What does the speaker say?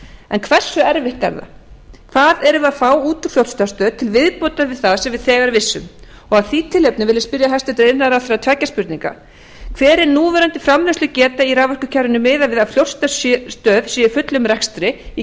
en hversu erfitt er það hvað erum við að fá út úr fljótsdalsstöð til viðbótar við það sem við þegar vissum af því tilefni vil ég spyrja hæstvirtur iðnaðarráðherra tveggja spurninga hver er núverandi framleiðslugeta í raforkukerfinu miðað við að fljótsdalsstöð sé í fullum rekstri í